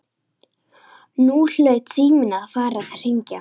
Nú hlaut síminn að fara að hringja.